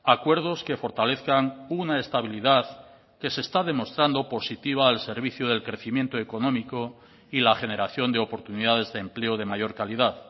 acuerdos que fortalezcan una estabilidad que se está demostrando positiva al servicio del crecimiento económico y la generación de oportunidades de empleo de mayor calidad